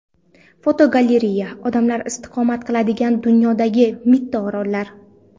Fotogalereya: Odamlar istiqomat qiladigan dunyodagi mitti orollar.